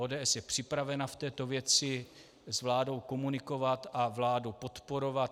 ODS je připravena v této věci s vládou komunikovat a vládu podporovat.